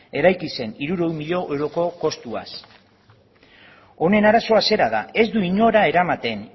eraiki zen hirurehun milioi euroko kostuaz honen arazoa zera da ez du inora eramaten